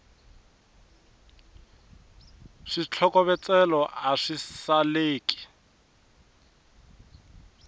switlokovetselo a swi saleki